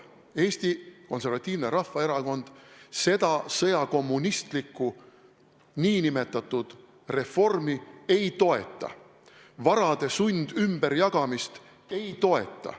Eesti Konservatiivne Rahvaerakond seda sõjakommunistlikku nn reformi ei toeta, varade sundümberjagamist ei toeta.